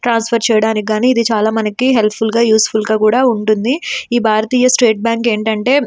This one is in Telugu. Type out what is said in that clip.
ట్రాన్స్ఫర్ చేయడానికి ఇది చాలా హెల్ప్ ఫుల్ గా యూస్ఫుల్ గా కూడా ఉంటుంది ఈ భారతీయ స్టేట్ బ్యాంకు ఎంటిఅంటే --